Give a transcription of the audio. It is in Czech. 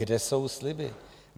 Kde jsou sliby?